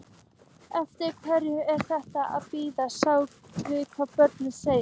Eftir hverju er þeir að bíða, sjá hvað blöðin segja?